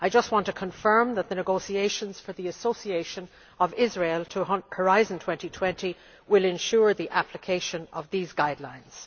I just want to confirm that the negotiations for the association of Israel to Horizon 2020 will ensure the application of these guidelines.